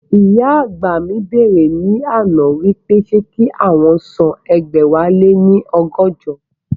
Ìyá àgbà mi bẹ̀rẹ̀ ní àná wípé ṣé kí àwọn san ẹgbẹ̀wáléní ọgọ́jọ?